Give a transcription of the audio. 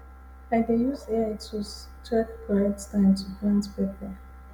i dey use ai tools check correct time to plant pepper